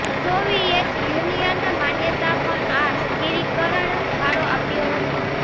Soviet Union માન્યતા પણ આ સ્થિરીકરણ ફાળો આપ્યો હતો